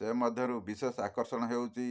ସେ ମଧ୍ୟରୁ ବିଶେଷ ଆକର୍ଷଣ ହେଉଛି